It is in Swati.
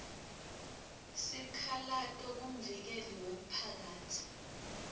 sikhalato kumvikeli wemphakatsi